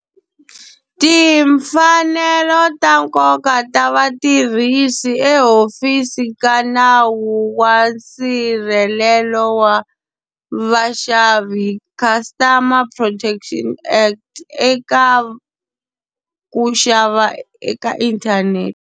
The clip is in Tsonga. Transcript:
Timfanelo ta nkoka ta vatirhisi ehofisini ka nawu wa nsirhelelo wa vaxavi Customer Protection Act eka ku xava eka inthanete.